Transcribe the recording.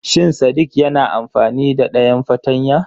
Shin sadik na amfani da dayan fartanya?